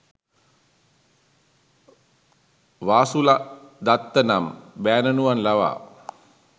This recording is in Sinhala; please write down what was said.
වාසුලදත්ත නම් බෑණනුවන් ලවා